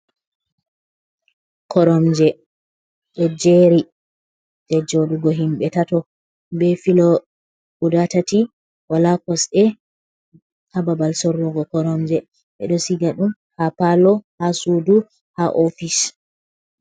Koromje! Ɗo jeri, ɗe joɗugo himbe tato. Be filo guda tati, wala kosɗe ha babal sorrugo koromje. Ɓeɗo siga ɗum ha palo, ha sudu, ha ofis.